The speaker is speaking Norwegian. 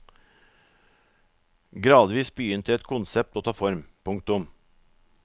Gradvis begynte et konsept å ta form. punktum